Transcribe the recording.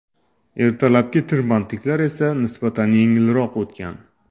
Ertalabki tirbandliklar esa nisbatan yengilroq o‘tgan.